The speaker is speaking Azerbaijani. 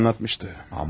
Dunya anlatmıştı.